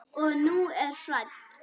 Og hún er hrædd.